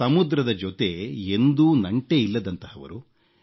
ಸಮುದ್ರದ ಜೊತೆ ಎಂದೂ ನಂಟೇ ಇಲ್ಲದಂತಹವರು